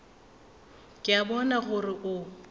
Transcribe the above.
ke a bona gore o